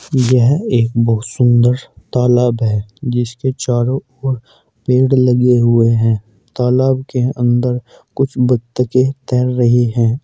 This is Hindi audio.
यह एक बहुत सुंदर सा तालाब है जिसके चारों ओर पेड़ लगे हुए है तालाब के अंदर कुछ बतखें तैर रही हैं।